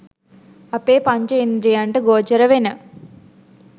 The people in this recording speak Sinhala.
අපේ පංචඉන්ද්‍රියයන්ට ගෝචර වෙන